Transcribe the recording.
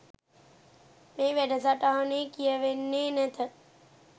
මේ වැඩසටහනේ කියවෙන්නේ නැත.